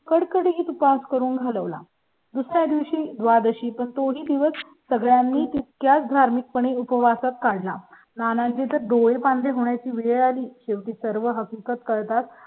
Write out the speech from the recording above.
. कडकडीत उपास करून घालव ला. दुसर् या दिवशी द्वादशी पण तोही दिवस सगळ्यां नी त्या धार्मिक पणे उपवासात काना ना तिथे डोळे पांढरे होण्याची वेळ आली. शेवटी सर्व हकीकत करतात.